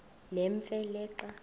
nemfe le xa